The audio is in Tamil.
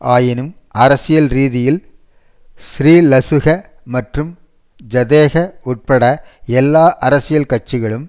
ஆயினும் அரசியல் ரீதியில் ஸ்ரீலசுக மற்றும் ஐதேக உட்பட எல்லா அரசியல் கட்சிகளும்